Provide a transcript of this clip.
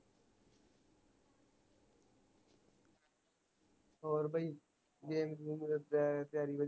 ਹੋਰ ਬਾਈ game ਗੁਮ ਅਹ ਤਿਆਰੀ